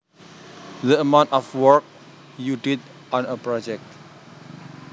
The amount of work you did on a project